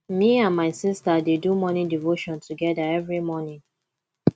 me and my sista dey do morning devotion togeda every morning